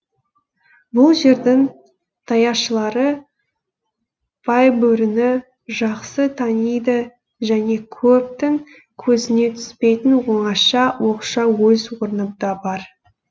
бұл жердің даяшылары байбөріні жақсы таниды және көптің көзіне түспейтін оңаша оқшау өз орны да бар